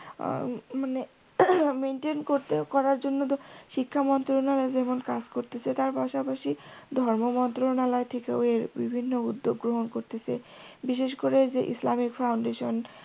মানে maintain করতে করার জন্য শিক্ষামন্ত্রণালয় যেমন কাজ করতেসে তার পাশাপাশি ধর্মমন্ত্রণালয় থেকেও এর বিভিন্ন উদ্যোগ গ্রহণ করতেসে, বিশেষ করে যে ইসলামিক foundation